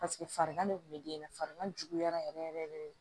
Paseke farigan de kun be den na farigan juguyara yɛrɛ yɛrɛ yɛrɛ de